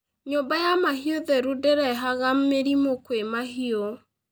Nyũmba ya mahiũ theru ndĩrehaga mĩrimũ kwĩ mahiũ.